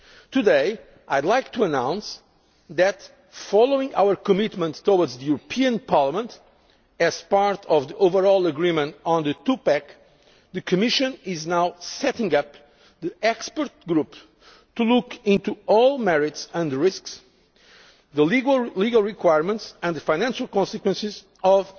union. Today I would like to announce that, following our commitment towards the European Parliament as part of the overall agreement on the two pack, the Commission is now setting up an expert group to look into all merits and risks, the legal requirements and the financial consequences